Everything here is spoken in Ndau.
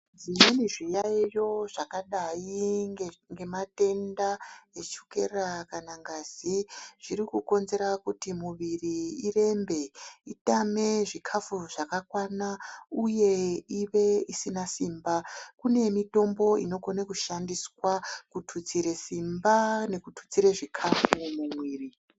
Zvimweni zviyaiyo zvakadai ngematenga echukera kana ngazi zvirikukonzera kuti muviri irembe, itame zvikafu zvakakwana, uye ive isina simba. Kune mitombo inokona kushandiswa kututsire simba nekututsire zvikafu mumwiri.